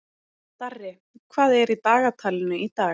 Darri, hvað er í dagatalinu í dag?